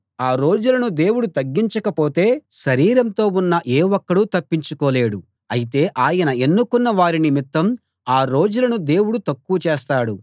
ఆ రోజులను దేవుడు తగ్గించకపోతే శరీరంతో ఉన్న ఏ ఒక్కడూ తప్పించుకోలేడు అయితే ఆయన ఎన్నుకున్న వారి నిమిత్తం ఆ రోజులను దేవుడు తక్కువ చేస్తాడు